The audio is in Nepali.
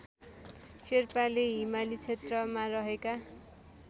शेर्पाले हिमाली क्षेत्रमा रहेका